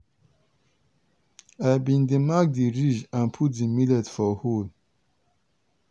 i bin dey mark di ridge and put the millet for hole.